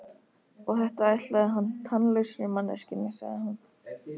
Og þetta ætlaði hann tannlausri manneskjunni, sagði hún.